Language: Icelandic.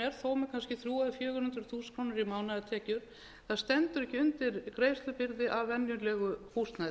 þó með kannski þrjú hundruð eða fjögur hundruð þúsund krónur í mánaðartekjur stendur ekki undir greiðslubyrði af venjulegu húsnæði